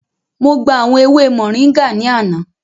Mo gba awọn ewe móringạ ni ana.